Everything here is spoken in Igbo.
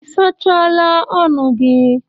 Ị sachala ọnụ gị?